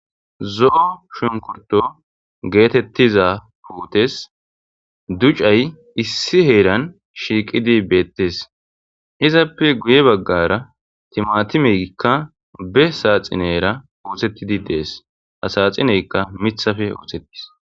zo7o shunkurto geetettiza pootes ducay issi heeran shiiqidi beettes izappe guye baggara timatimeykka be saaxinera uohettidi dees asaxineykka mithafe ootettis